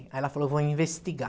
Aí ela falou, eu vou investigar.